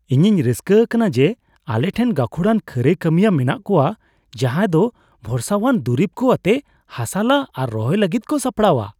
ᱤᱧᱤᱧ ᱨᱟᱹᱥᱠᱟᱹ ᱟᱠᱟᱱᱟ ᱡᱮ ᱟᱞᱮᱴᱷᱮᱱ ᱜᱟᱹᱠᱷᱩᱲᱟᱱ ᱠᱷᱟᱹᱨᱟᱹᱭ ᱠᱟᱹᱢᱤᱭᱟᱹ ᱢᱮᱱᱟᱜ ᱠᱚᱣᱟ ᱡᱟᱦᱟᱸ ᱫᱚ ᱵᱷᱚᱨᱥᱟᱣᱟᱱ ᱫᱩᱨᱤᱵ ᱠᱚ ᱟᱛᱮ ᱦᱟᱥᱟ ᱞᱟ ᱟᱨ ᱨᱚᱦᱚᱭ ᱞᱟᱹᱜᱤᱫ ᱠᱚ ᱥᱟᱯᱲᱟᱣᱟ ᱾